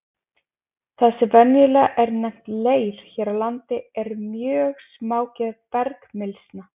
Það sem venjulega er nefnt leir hér á landi er mjög smágerð bergmylsna.